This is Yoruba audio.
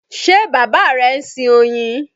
Ṣe bàbá rẹ ń sin oyin?